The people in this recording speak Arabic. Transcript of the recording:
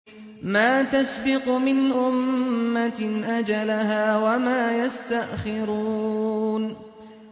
مَا تَسْبِقُ مِنْ أُمَّةٍ أَجَلَهَا وَمَا يَسْتَأْخِرُونَ